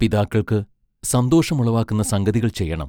പിതാക്കൾക്ക് സന്തോഷം ഉളവാക്കുന്ന സംഗതികൾ ചെയ്യണം.